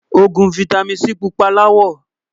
ògún fìtámín C púpà lawó